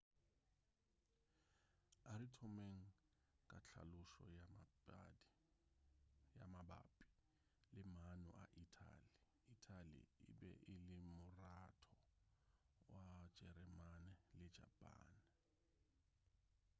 a re thomeng ka tlhalošo ya mabapi le maano a ithali ithali e be e le moratho wa jeremane le japane